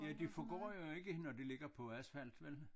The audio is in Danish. Ja de forgår jo ikke når det ligger på asfalt vel